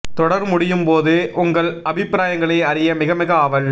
தொடர் முடியும் போது உங்கள் அபிப்பிராயங்களை அறிய மிக மிக ஆவல்